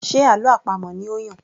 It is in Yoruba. Ṣe àlọ́ àpamọ̀ ni ó Yàn?